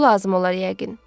Pul lazım olar yəqin.